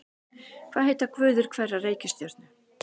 Hvað heita guðir hverrar reikistjörnu?